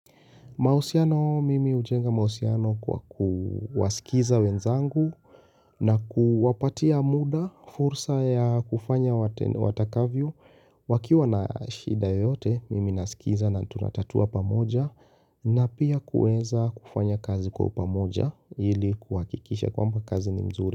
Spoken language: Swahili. Mahusiano, mimi hujenga mahusiano kwa kuwasikiza wenzangu na kuwapatia muda fursa ya kufanya watakavyo. Wakiwa na shida yote, mimi nasikiza na tunatatua pamoja na pia kuweza kufanya kazi kwa pamoja ili kuhakikisha kwamba kazi ni mzuri.